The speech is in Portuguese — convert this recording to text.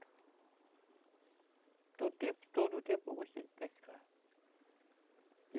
Todo o tempo, todo o tempo eu gostei de pescar.